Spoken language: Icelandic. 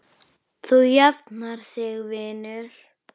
Þú jafnar þig vinur.